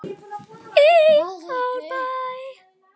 í Árbæ.